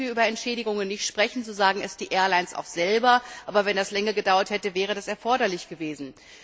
Im Moment müssen wir über Entschädigungen nicht sprechen, so sagen die Airlines auch selber, aber wenn es länger gedauert hätte, wäre es erforderlich gewesen.